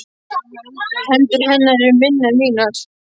Hendur hennar eru minni en mínar.